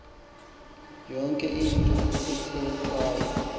yonke into ethethwayo